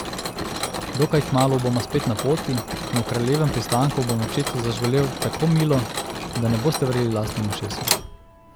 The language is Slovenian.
Dokaj kmalu bomo spet na poti in v Kraljevem pristanku bom očetu zažgolel tako milo, da ne boste verjeli lastnim ušesom.